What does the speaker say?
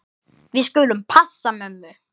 Við skulum passa mömmu.